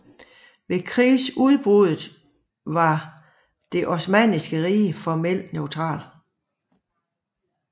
Ved krigsudbruddet var Det osmanniske rige formelt neutralt